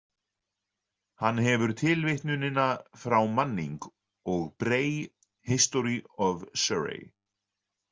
Hann hefur tilvitnunina frá Manning og Bray, History of Surrey.